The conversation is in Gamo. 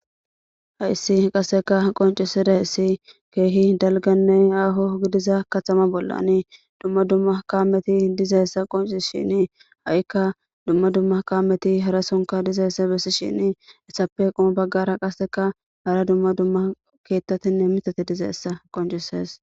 Hayis qaseka qoncises kehi daaliganee aho gadeza katama bollan duma duma kameti dizaysa haysa qonicisesin hayika duma duma kameti harasa besishin izape qomo bagaraka hara duma duma kethatinee mithati dizaysa qonicises